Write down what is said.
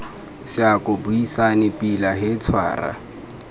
seako buisane pila he tshwara